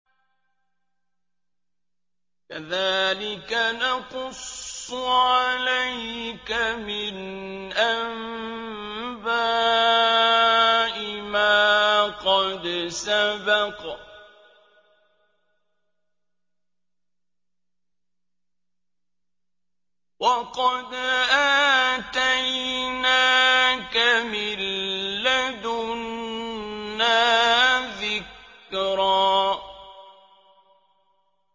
كَذَٰلِكَ نَقُصُّ عَلَيْكَ مِنْ أَنبَاءِ مَا قَدْ سَبَقَ ۚ وَقَدْ آتَيْنَاكَ مِن لَّدُنَّا ذِكْرًا